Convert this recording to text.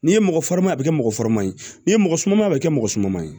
N'i ye mɔgɔ fari ma a bɛ kɛ mɔgɔ faranin ye n'i ye mɔgɔ sumama a bɛ kɛ mɔgɔ suman ye